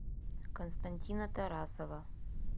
константина тарасова